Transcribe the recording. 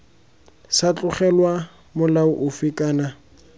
sa tlogelwa molao ofe kana